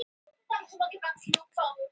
Örn öfundaði þau.